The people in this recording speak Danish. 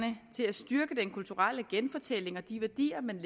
til at styrke den kulturelle genfortælling og de værdier man